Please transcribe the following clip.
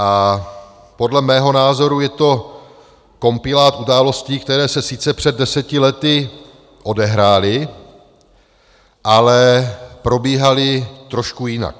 A podle mého názoru je to kompilát událostí, které se sice před deseti lety odehrály, ale probíhaly trošku jinak.